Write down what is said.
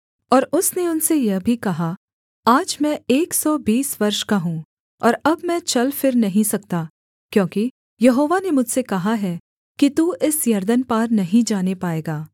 और उसने उनसे यह भी कहा आज मैं एक सौ बीस वर्ष का हूँ और अब मैं चल फिर नहीं सकता क्योंकि यहोवा ने मुझसे कहा है कि तू इस यरदन पार नहीं जाने पाएगा